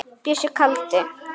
Bjössi kaldi.